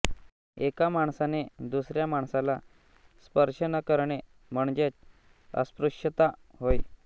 एका माणसाने दुसऱ्या माणसाला स्पर्श न करणे म्हणजेच अस्पृश्यता होय